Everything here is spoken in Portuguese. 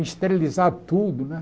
Esterilizar tudo, né?